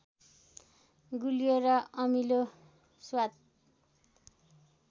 गुलियो र अमिलो स्वाद